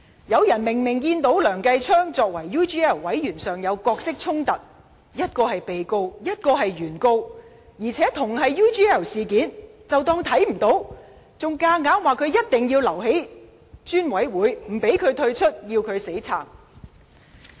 有人明明看到梁繼昌議員作為 UGL 專責委員會成員的角色衝突，一個是被告，另一個是原告，而且，同是 UGL 事件，他們卻當作看不見，還堅持梁繼昌議員應留在專責委員會，不讓他退出，要他"死撐"。